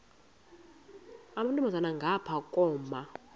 amantombazana ngapha koma